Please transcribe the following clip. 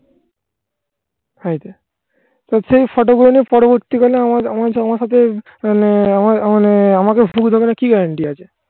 সবসময় photo গুলো নে পরবর্তীকালে আমার আমার হাতে মানে আমার মানে আমাকে ফুল দেবে না কি guarantee আছে